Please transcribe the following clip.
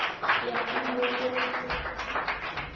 go ya ka mo go